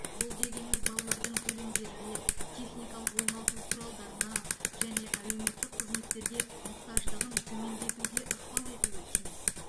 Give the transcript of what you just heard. бұл дегеніміз балалардың төлемдерге техникалық оңалту құралдарына және әлеуметтік қызметтерге мұқтаждығын төмендетуге ықпал етуі тиіс